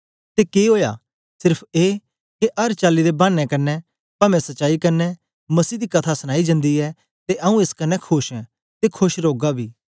ते के ओया सेर्फ ए के अर चाली दे भानें कन्ने पवें सच्चाई कन्ने मसीह दी कथा सनाई जन्दी ऐ ते आऊँ एस कन्ने खोश ऐं ते खोश रौगा बी